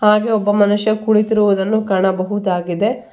ಹಾಗೆ ಒಬ್ಬ ಮನುಷ ಕುಳಿತಿರುವುದನ್ನು ಕಾಣಬಹುದಾಗಿದೆ.